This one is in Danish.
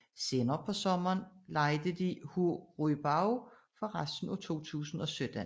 Senere på sommeren lejede de Hu Ruibao for resten af 2017